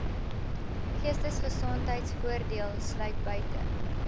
geestesgesondheidvoordeel sluit buite